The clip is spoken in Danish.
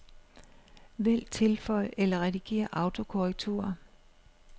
Vælg tilføj eller redigér autokorrektur.